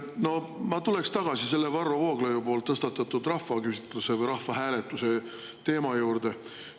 No ma tuleksin tagasi selle Varro Vooglaiu tõstatatud rahvaküsitluse või rahvahääletuse teema juurde.